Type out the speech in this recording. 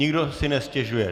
Nikdo si nestěžuje.